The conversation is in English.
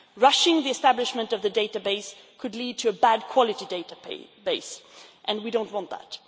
Rushing the establishment of the database could lead to a bad quality database and we do not want that.